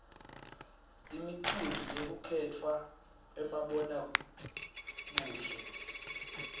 imicimbi yekukhetfwa kwabonobuhle